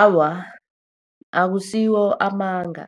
Awa, akusiwo amanga,